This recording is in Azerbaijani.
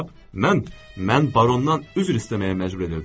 Mən, mən barondan üzr istəməyə məcbur edirdim.